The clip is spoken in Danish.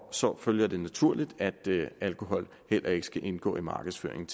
så følger det naturligt at alkohol heller ikke skal indgå i markedsføring